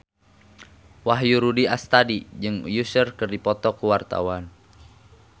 Wahyu Rudi Astadi jeung Usher keur dipoto ku wartawan